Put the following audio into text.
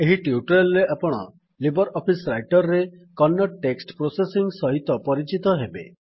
ଏହି ଟ୍ୟୁଟୋରିଆଲ୍ ରେ ଆପଣ ଲିବର୍ ଅଫିସ୍ ରାଇଟର୍ ରେ କନ୍ନଡ ଟେକ୍ସଟ୍ ପ୍ରୋସେସିଙ୍ଗ୍ ସହିତ ପରିଚିତ ହେବେ